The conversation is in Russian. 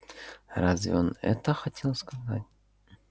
разве он это хотел сказать